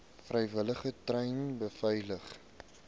vrywilligers treine beveilig